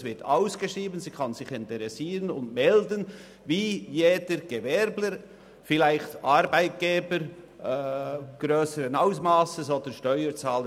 Der Verkauf wird ausgeschrieben, und die Gemeinde kann sich wie jeder Gewerbetreibende, vielleicht Arbeitgeber oder Steuerzahler grösseren Ausmasses, interessieren und melden.